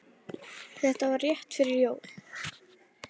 Þetta var rétt fyrir jól.